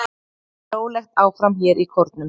Rólegt áfram hér í Kórnum.